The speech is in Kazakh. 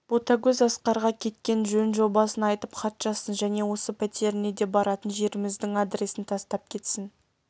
ботагөз асқарға кеткен жөн-жобасын айтып хат жазсын және осы пәтеріне де баратын жеріміздің адресін тастап кетсін